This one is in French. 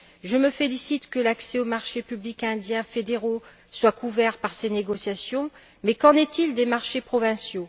Je me félicite que l'accès aux marchés publics indiens fédéraux soit couvert par ces négociations, mais qu'en est il des marchés provinciaux?